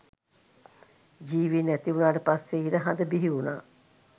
ජීවීන් ඇතිවුනාට පස්සෙ ඉර හඳ බිහිවුනා